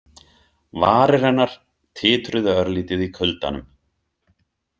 Varir hennar titruðu örlítið í kuldanum.